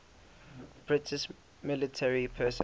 british military personnel